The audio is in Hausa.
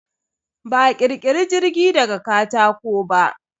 Ba a ƙirkiri jirgi daga katako ba.